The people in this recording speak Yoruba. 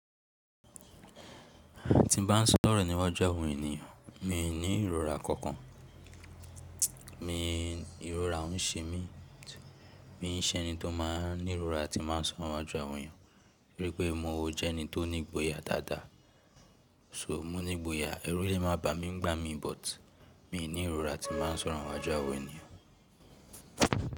Ti n ba n sọrọ niwaju àwọn ènìyàn mi ni ìrora kokan. Mi ìrora n ṣe mí, mi n ṣe ẹni tó máa n ní ìrora tí máa n sọrọ níwájú àwọn ènìyàn, toripé mo jẹ ẹni tó ni ìgboyà dáadáa. So mo ní ìgboyà, ẹrú le ma ba mi nigbá mi but mi ní ìrora tí ma n sọrọ níwájú àwọn ènìyàn.